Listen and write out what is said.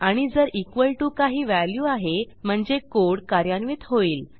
आणि जर equal to काही व्हॅल्यू आहे म्हणजे कोड कार्यान्वित होईल